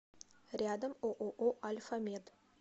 рядом ооо альфамед